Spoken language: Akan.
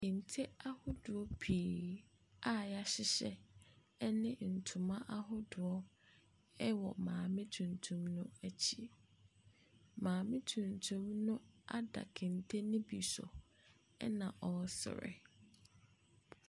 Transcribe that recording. Kente ahodoɔ pii a wɔahyehyɛ ne ntoma ahodoɔ wɔ maame tuntum no akyi. Maame tuntum no ada kente no bi so, ɛna ɔresere.